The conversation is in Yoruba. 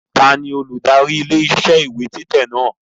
Taàní olùdarí ilé iṣẹ́ ìwé títẹ̀ náà?